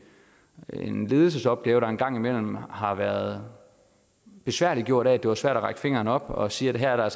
er det en ledelsesopgave der en gang imellem har været besværliggjort af at det var svært at række fingeren op og sige at her var